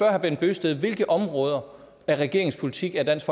herre bent bøgsted hvilke områder af regeringens politik er dansk